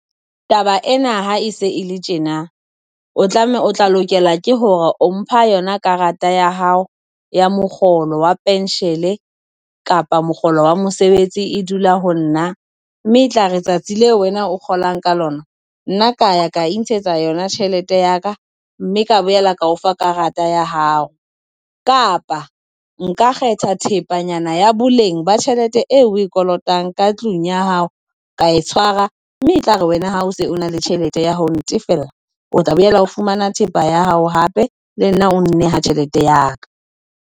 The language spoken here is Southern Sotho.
Taba ena ha e se e le tjena, o tlameha o tla lokela ke hore o mpha yona karata ya hao ya mokgolo wa pension kapa mokgolo wa mosebetsi e dula ho nna, mme e tlare tsatsi leo wena o kgolang ka lona, nna ka ya ka intshetsa yona tjhelete ya ka mme ka boela ka o fa karata ya hao. Kapa, nka kgetha thepanyana ya boleng ba tjhelete eo o e kolotang ka tlung ya hao, ka e tshwara mme e tlare wena ha o se o na le tjhelete ya ho ntefela, o tla boela o fumana thepa ya hao hape le nna o nneha tjhelete ya ka.